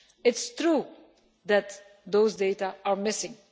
It is true that those data are missing.